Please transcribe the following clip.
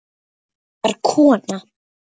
Þetta var kona.